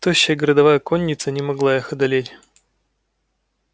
тощая городовая конница не могла их одолеть